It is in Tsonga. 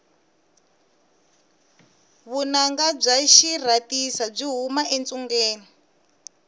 vunanga bya xirhasita byi huma etsungeni